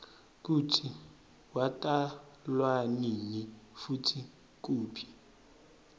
kutsi watalwanini futsi kuphi